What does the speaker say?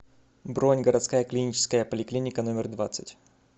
бронь городская клиническая поликлиника номер двадцать